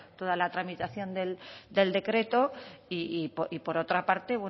toda la tramitación del decreto y por otra parte